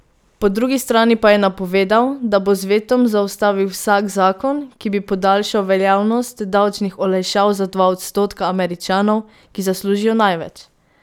Po drugi strani pa je napovedal, da bo z vetom zaustavil vsak zakon, ki bi podaljšal veljavnost davčnih olajšav za dva odstotka Američanov, ki zaslužijo največ.